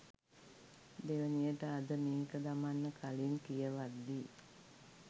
දෙවනියට අද මේක දමන්න කලින් කියවද්දි